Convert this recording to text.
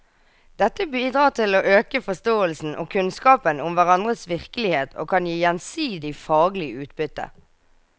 Dette bidrar til å øke forståelsen og kunnskapen om hverandres virkelighet og kan gi gjensidig faglig utbytte.